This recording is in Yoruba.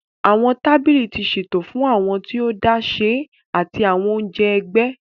Awọn tábìlì ti ṣeto fún awọn tí o dashe ati awọn onjẹ ẹgbẹ.